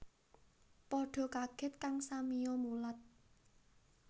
Padha kaget kang samiya mulat